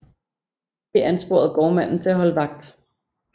Det ansporede gårdmanden til at holde vagt